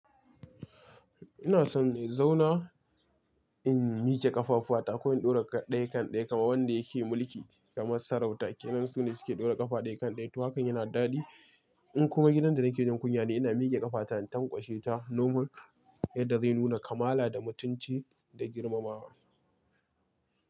Ina so ne zauna in mike ƙafafuwa ta ko in ɗora ɗaya kan ɗaya kamar wanda yake mulki kamar sarauta. Ke nan su ne suke ɗora ƙafa ɗaya kan ɗaya. Tumatur yana daɗi. In kuma gidan da nake jin kunya ne ina mige ƙafa ta in tankwashe ta normal yadda zai nuna kamala da mutunci da girmamawa.